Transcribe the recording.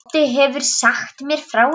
Doddi hefur sagt mér frá ykkur.